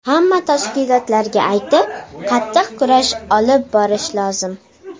Hamma tashkilotlarga aytib, qattiq kurash olib borish lozim.